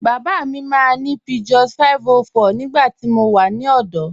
Baba mi maa ni Peugeot 504 nígbàtí mó wà ní ọdọ.